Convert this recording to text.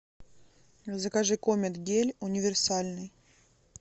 закажи комет гель универсальный